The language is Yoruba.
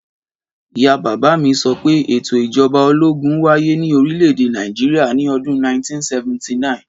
Ìyá bàbá mi sọ pé ètò Ìjọba ológun ń wáyé ní orílẹ̀-èdè Nàìjíríà ni ọdún 1979.